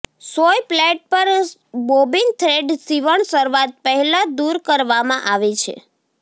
સોય પ્લેટ પર bobbin thread સીવણ શરૂઆત પહેલા દૂર કરવામાં આવે છે